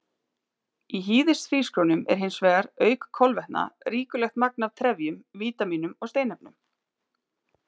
Í hýðishrísgrjónum er hins vegar, auk kolvetna, ríkulegt magn af trefjum, vítamínum og steinefnum.